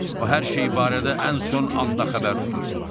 O hər şeyi barədə ən son anda xəbər tutur.